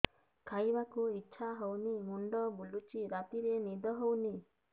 ଖାଇବାକୁ ଇଛା ହଉନି ମୁଣ୍ଡ ବୁଲୁଚି ରାତିରେ ନିଦ ହଉନି